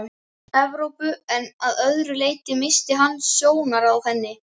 Evrópu en að öðru leyti missti hann sjónar af henni.